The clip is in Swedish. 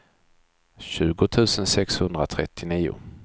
tjugo tusen sexhundratrettionio